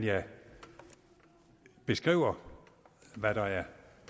jeg beskriver hvad der er